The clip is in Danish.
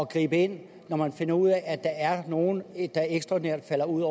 gribe ind når man finder ud af at der er nogle der ekstraordinært falder ud